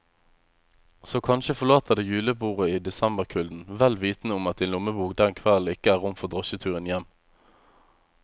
Så kanskje forlater du julebordet i desemberkulden, vel vitende om at din lommebok den kvelden ikke har rom for drosjeturen hjem.